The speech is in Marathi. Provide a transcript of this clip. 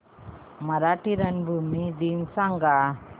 मराठी रंगभूमी दिन सांगा